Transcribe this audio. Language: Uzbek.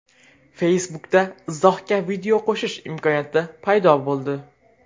Facebook’da izohga video qo‘shish imkoniyati paydo bo‘ldi.